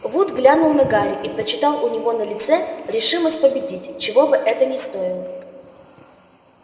вуд глянул на гарри и прочитал у него на лице решимость победить чего бы это ни стоило